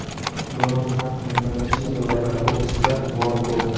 Donald Tramp Nevada shtatidagi kokusda g‘olib bo‘ldi.